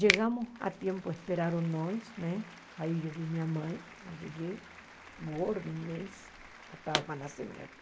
Chegamos a tempo, esperaram nós né, aí eu vi minha mãe, cheguei, gorda, imensa, já estava para nascer minha filha.